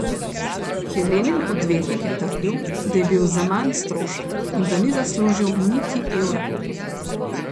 Helenin odvetnik je trdil, da je bil Zaman strošek in da ni zaslužil niti evra.